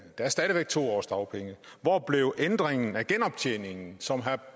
der er stadig væk to års dagpenge hvor blev ændringen af genoptjeningen som herre